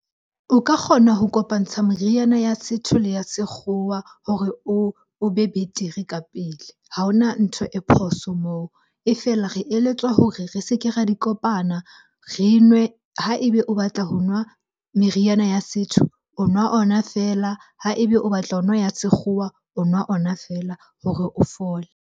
O ka kgona ho kopantsha meriana ya setho le ya sekgowa hore o be betere ka pele, ha hona ntho e phoso moo. E feela, re eletswa hore re se ke ra di kopana re e nwe. Ha ebe o batla ho nwa meriana ya setho, o nwa ona feela. Ha ebe o batla ho nwa ya sekgowa, o nwa ona feela hore o fole.